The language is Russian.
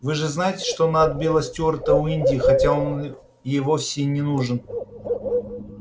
вы же знаете что она отбила стюарта у индии хотя он ей вовсе не нужен